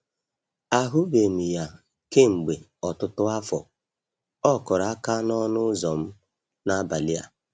Ahụbeghị m ya kemgbe ọtụtụ afọ, ọ kụrụ aka n'ọnụ ụzọ m n'abalị a.